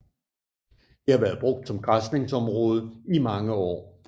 Det har været brugt som græsningsområde i mange år